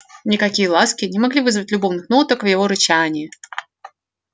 никакие ласки не могли вызвать любовных ноток в его рычании